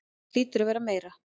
Það hlýtur að vera meira.